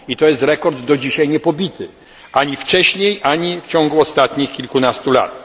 I jest to rekord do dzisiaj niepobity, ani wcześniej, ani w ciągu ostatnich kilkunastu lat.